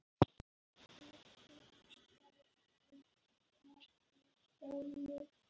Staðará getur verið